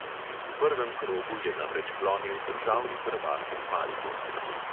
V prvem krogu je namreč klonil državni prvak iz maribora.